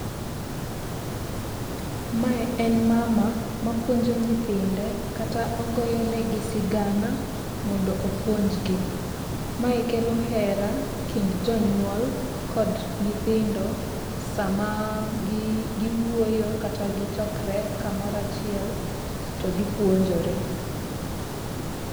Mae en mama mapuonjo nyithinde kata ogoyo negi sigana mondo opuonjgo. Mae kelo hera e kind jonyuol kod nyithindo, sama gi giwuoyo kata gichokre kamoro achiel to gipuonjore.